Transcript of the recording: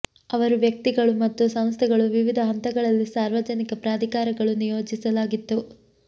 ಅವರು ವ್ಯಕ್ತಿಗಳು ಮತ್ತು ಸಂಸ್ಥೆಗಳು ವಿವಿಧ ಹಂತಗಳಲ್ಲಿ ಸಾರ್ವಜನಿಕ ಪ್ರಾಧಿಕಾರಗಳು ನಿಯೋಜಿಸಲಾಗಿತ್ತು